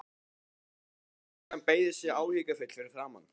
Ljóshærða stúlkan beygði sig áhyggjufull yfir hann.